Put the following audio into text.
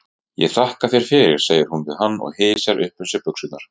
Ég þakka þér fyrir, segir hún við hann og hysjar upp um sig buxurnar.